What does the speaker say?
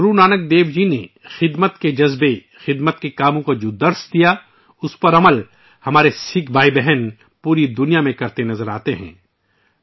پوری دنیا میں ہمارے سکھ بھائی اور بہنیں خدمت کے جذبے اور خدمت پر عمل در آمد کرنے کے بارے میں گرو نانک دیو جی کی تعلیمات پر عمل کرتے نظر آتے ہیں